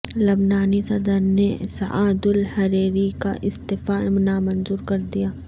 لبنانی صدر نے Saad al Hariri کا استعفی نامنظور کر دیا